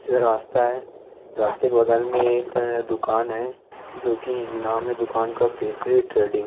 ये रास्ता है रास्ते के बगल मे एक दुकान है जोकी नाम है दुकान का केशरी ट्रैडिंग ।